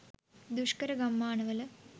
දුෂ්කර ගම්මානවල